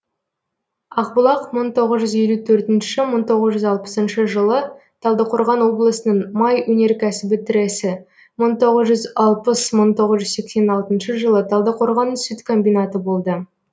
ақбұлақ мың тоғыз жүз елу төртінші мың тоғыз жүз алпысыншы жылы талдықорған облысының май өнеркәсібі тресі мың тоғыз жүз алпыс мың тоғыз жүз сексен алтыншы жылы талдықорған сүт комбинаты болды